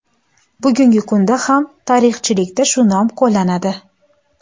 Bugungi kunda ham tarixchilikda shu nom qo‘llanadi.